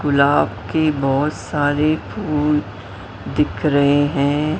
गुलाब की बहोत सारी फुल दिख रहे हैं।